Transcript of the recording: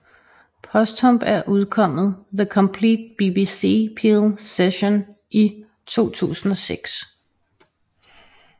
Posthumt er udkommet The Complete BBC Peel Sessions i 2006